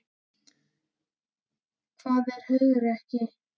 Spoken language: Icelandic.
Hvað er hugrekki?